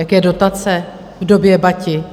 Jaké dotace v době Bati?